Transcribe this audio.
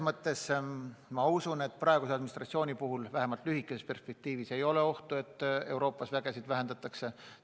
Ma usun, et praeguse USA administratsiooni puhul vähemalt lühikeses perspektiivis ei ole ohtu, et Euroopas oma üksusi vähendatakse.